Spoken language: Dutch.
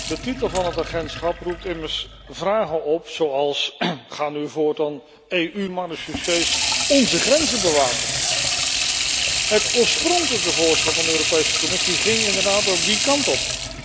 De titel van het agentschap roept immers vragen op als gaan nu voortaan EU marechaussees onze grenzen bewaken? Het oorspronkelijke voorstel van de Europese Commissie ging inderdaad die kant op.